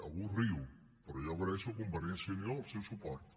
algú riu però jo agraeixo a convergència i unió el seu suport